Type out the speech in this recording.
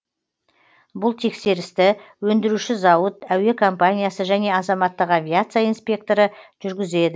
бұл тексерісті өндіруші зауыт әуе компаниясы және азаматтық авиация инспекторы жүргізеді